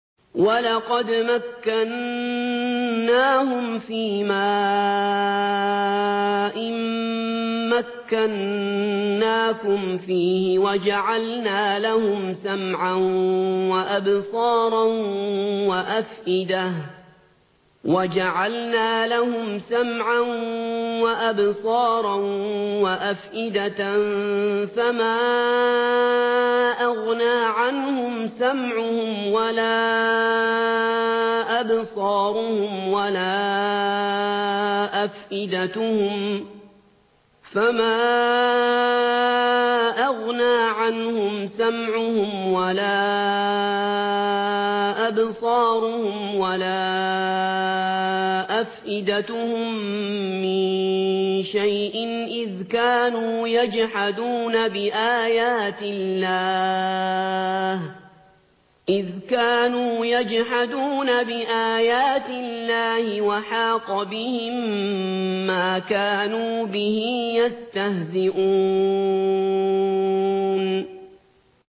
وَلَقَدْ مَكَّنَّاهُمْ فِيمَا إِن مَّكَّنَّاكُمْ فِيهِ وَجَعَلْنَا لَهُمْ سَمْعًا وَأَبْصَارًا وَأَفْئِدَةً فَمَا أَغْنَىٰ عَنْهُمْ سَمْعُهُمْ وَلَا أَبْصَارُهُمْ وَلَا أَفْئِدَتُهُم مِّن شَيْءٍ إِذْ كَانُوا يَجْحَدُونَ بِآيَاتِ اللَّهِ وَحَاقَ بِهِم مَّا كَانُوا بِهِ يَسْتَهْزِئُونَ